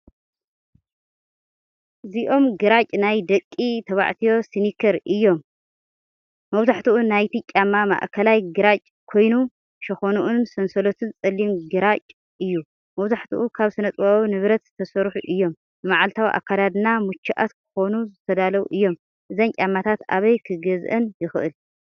እዚኦም ግራጭ ናይ ደቂ ተባዕትዮ ስኒከር እዮም። መብዛሕትኡ ናይቲ ጫማ ማእከላይ ግራጭ ኮይኑ፡ ሸኾናኡን ሰንሰለቱን ጸሊም ግራጭ እዩ።. መብዛሕትኦም ካብ ስነ-ጥበባዊ ንብረት ዝተሰርሑ እዮም። ንመዓልታዊ ኣከዳድና ምቹኣት ክኾኑ ዝተዳለዉ እዮም። እዘን ጫማታት ኣበይ ክገዝአን ይኽእል?